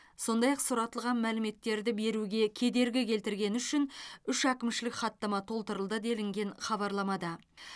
сондай ақ сұратылған мәліметтерді беруге кедергі келтіргені үшін үш әкімшілік хаттама толтырылды делінген хабарламада